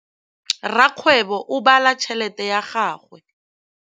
Rakgwêbô o bala tšheletê ya gagwe.